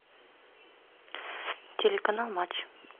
телеканал матч